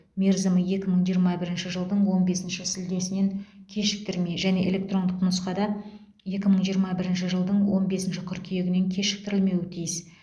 мерзімі екі мың жиырма бірінші жылдың он бесінші шілдесінен кешіктірмей және электрондық нұсқада екі мың жиырма бірінші жылдың он бесінші қыркүйегінен кешіктірілмеуі тиіс